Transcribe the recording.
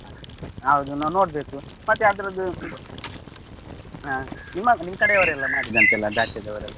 ಹೌದು ನಾ ನೋಡ್ಬೇಕು. ಮತ್ತೆ ಅದ್ರದು ಹ್ಮ್ ನಿಮ್ ಕಡೆ ಅವ್ರು ಎಲ್ಲಾ ಮಾಡಿದಂತೆ ಅದೇ ಆಚೆದವರೆಲ್ಲ?